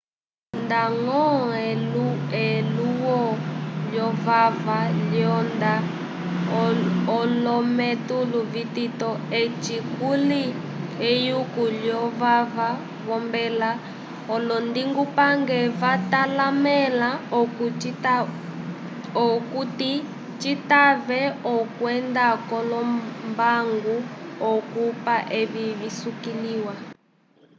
ndañgo elulwo lyovava ilonda olometulu vitito eci kuli eyuko lyovava v'ombela olondingupange vatalamẽla okuti citave okwenda k'olombangu okukopa evi visukiliwa